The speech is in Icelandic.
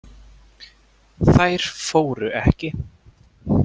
Þær fóru ekki.